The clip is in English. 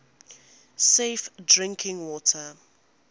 safe drinking water